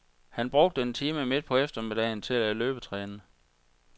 Han brugte en time midt på eftermiddagen til at løbetræne.